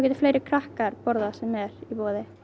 fleiri krakkar borðað það sem er í boði